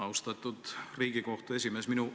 Austatud Riigikohtu esimees!